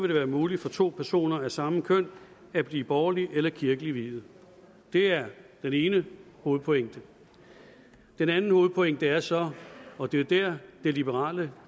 det være muligt for to personer af samme køn at blive borgerligt eller kirkeligt viet det er den ene hovedpointe den anden hovedpointe er så og det er dér det liberale